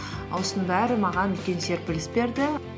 осының бәрі маған үлкен серпіліс берді